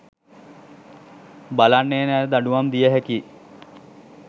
බලන්නේ නෑ දඩුවම් දිය හැකියි.